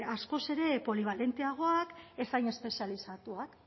askoz ere polibalenteagoak ez hain espezializatuak